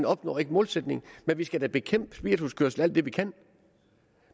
opnår målsætningen men vi skal da bekæmpe spirituskørsel alt det vi kan